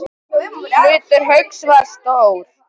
Hlutur Hauks var stór.